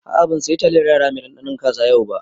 A'a ban saya taliyar yara mai ɗanɗanon kaza yau ba